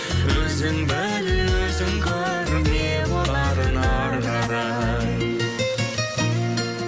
өзің біл өзің көр не боларын ары қарай